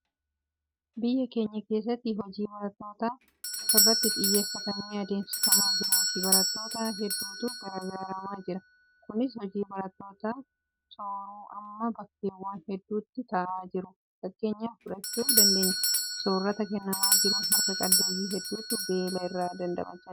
Biyya keenya keessatti hojii barattoota irratti xiyyeeffatamee adeemsifamaa jiruutiin barattoota hedduutu gargaaramaa jira. Kunis hojii barattoota sooruu amma bakkeewwan hedduutti ta'aa jiruu fakkeenya fudhachuu dandeenya. Soorrata kennamaa jiruun harka qalleeyyii hedduutu beela irraa damdamachaa jira.